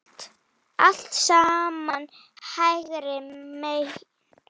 Allt saman hægri menn!